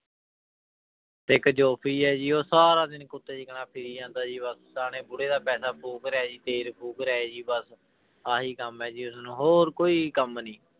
ਇੱਕ ਹੈ ਜੀ ਉਹ ਸਾਰਾ ਦਿਨ ਕੁੱਤੇ ਦੀ ਤਰ੍ਹਾਂ ਫਿਰੀ ਜਾਂਦਾ ਜੀ ਬਸ ਸਿਆਣੇ ਬੁੜੇ ਦਾ ਪੈਸਾ ਫ਼ੂਕ ਰਿਹਾ ਜੀ ਤੇਲ ਫ਼ੂਕ ਰਿਹਾ ਜੀ ਬਸ, ਆਹੀ ਕੰਮ ਹੈ ਜੀ ਉਸਨੂੰ ਹੋਰ ਕੋਈ ਕੰਮ ਨੀ